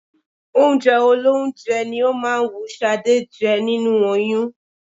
Oúnjẹ olóúnjẹ ni ó máa ń wú Ṣadé jẹ nínú oyún